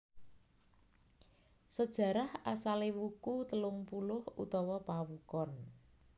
Sejarah asale Wuku telung puluh utawa Pawukon